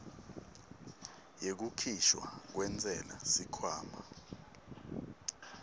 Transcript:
yekukhishwa kwentsela sikhwama